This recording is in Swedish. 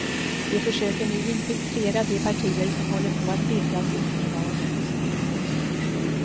De försöker nu infiltrera de partier som håller på att bildas inför valet.